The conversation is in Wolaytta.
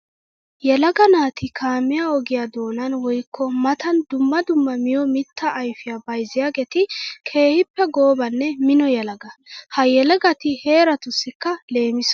Yelaga naati kaamiya ogiya doonan woykko matan dumma dumma miyo mitta ayfiya bayzziyaagetti keehippe goobanne mino yelaga. Ha yelagatti harattussikka leemisso.